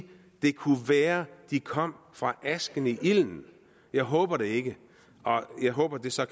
det kunne være de kom fra asken i ilden jeg håber det ikke jeg håber at det så